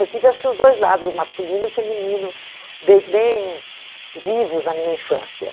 Eu tive acho que os dois lados, o masculino e o feminino, bem bem vivos na minha infância.